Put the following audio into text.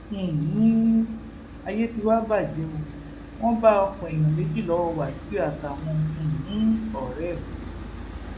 um ayé tí wàá bàjẹ o wọn bá ọkàn èèyàn méjì lọwọ wáṣíù àtàwọn um ọrẹ ẹ